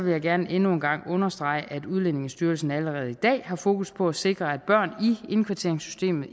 jeg gerne endnu en gang understrege at udlændingestyrelsen allerede i dag har fokus på at sikre at børn i indkvarteringssystemet